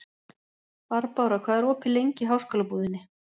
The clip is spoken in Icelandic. Barbára, hvað er opið lengi í Háskólabúðinni?